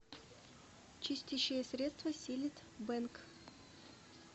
чистящее средство силлит бэнг